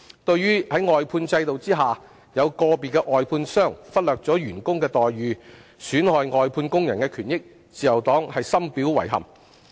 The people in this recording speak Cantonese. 對於在外判制度下有個別外判商忽略員工的待遇，損害外判工人的權益，自由黨深表遺憾。